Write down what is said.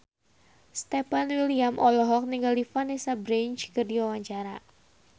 Stefan William olohok ningali Vanessa Branch keur diwawancara